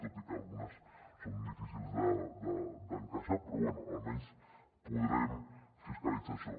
tot i que algunes són difícils d’encaixar però bé almenys podrem fiscalitzar això